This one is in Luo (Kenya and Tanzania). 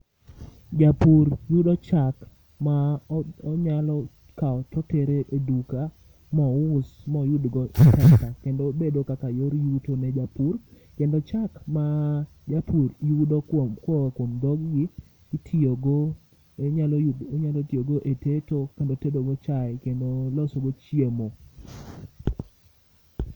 Japur yudo chak ma onyalo kawo totere e duka, mous moyudgo takata, kendo bedo kaka yor yuto ne jopiny. Kendo chak ma japur yudo kuom koa kuom dhogi, itiyogo. Inyalo tiyogo e teto, kendo tedogo chae, kendo losogo chiemo.